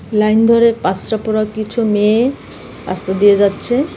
Line ধরে পরা কিছু মেয়ে রাস্তা দিয়ে যাচ্ছে .